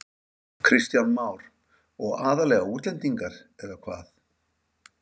Kristján Már: Og aðallega útlendingar eða hvað?